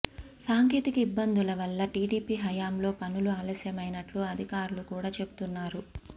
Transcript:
సాంకేతిక ఇబ్బందుల వల్ల టీడీపీ హయాంలో పనులు ఆలస్యమైనట్లు అధికారులు కూడా చెబుతున్నారు